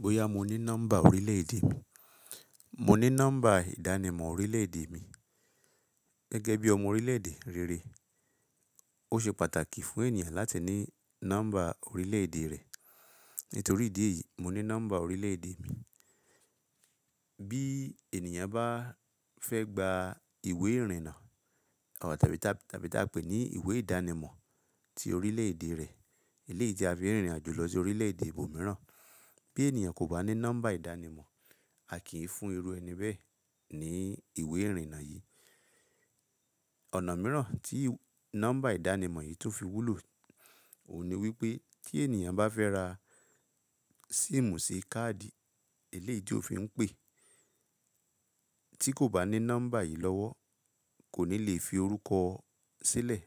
Bóyá mo ní nọ́mbà orílẹ̀ èdè mi. Mo ní nọ́mbà ìdánimọ̀ orílẹ̀ èdè mi. Gẹ́gẹ́ bí ọmọ orílẹ̀ èdè rere, ó ṣe pàtàkì fún ènìyàn láti ní nọ́mbà orílẹ̀ èdè rẹ̀. Nítorí ìdí èyí, mo ní nọ́mbà orílẹ̀ èdè mi. Bí ènìyàn bá fẹ́ gba ìwé ìrìnnà tàbí ta pé ní ìwé ìdánimọ̀ ti orílẹ̀ èdè rẹ̀, eléyí tina fi rìnrìn àjò lọ sí orílẹ̀ èdè ibòmíràn. Bí ènìyàn kò bá ní nọ́mbà ìdánimọ̀, a kì í fún irú ẹni bẹ́ẹ̀ ní ìwé ìrìnnà yìí. Ọ̀nà mìíràn tí nọ́mbà ìdánimọ̀ yìí tún fi wúlò òun ni wípé tí ènìyàn bá fẹ́ ra síìmù sì káàdì eléyí ti ò fin pè, tí kò bá ní nọ́mbà yìí lọ́wọ́ kò ní lè fi orúkọ sílẹ̀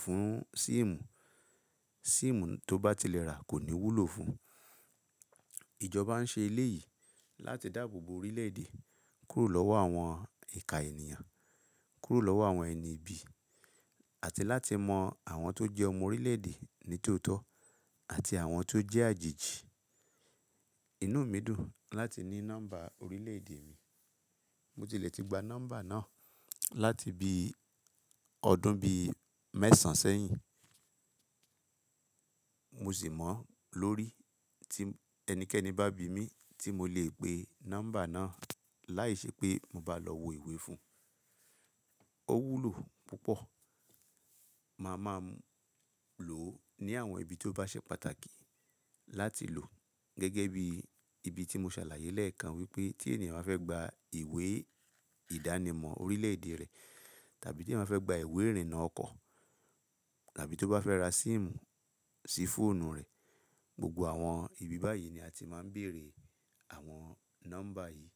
fún síìmù. Síìmù tó bá ti lè rà kò ní wúlò fún. Ìjọba ń ṣe eléyìí láti dáàbò bo orílẹ̀ èdè kúrò lọ́wọ́ àwọn ìka ènìyàn, kúrò lọ́wọ́ àwọn ẹni ibi àti láti mọ àwọn tó jẹ́ ọmọ orílẹ̀ èdè ní tóótọ́ àti àwọn tó jẹ́ àjèjì. Inú mi dùn láti ní nọ́mbà orílẹ̀ èdè mi. Mo tilẹ̀ ti gba nọ́mbà náà láti bí i ọdún bí i mẹ́sàn sẹ́yìn. Mo sì mọ̀ lórí tí ẹnikẹ́ni bá bi mí tí mo lè pe nọ́mbà náà láìṣe pé mo bá lọ wo ìwé fún. Ó wúlò púpọ̀. Máa ma lò ó ní àwọn ibi tó bá ṣe pàtàkì láti lò ó. Gẹ́gẹ́ bí ibi tí mo ṣàlàyé lẹ́ẹ̀kan wípé tí ènìyàn bá fẹ́ gba ìwé ìdánimọ̀ orílẹ̀ èdè rẹ̀ tàbí tí ẹèyàn bá fẹ́ gba ìwé ìrìnnà ọkọ̀ tàbí tó bá fẹ́ ra síìmù sí fóònù rẹ̀, gbogbo àwọn ibi báyìí ni a ti máa ń bèrè àwọn nọ́mbà yìí.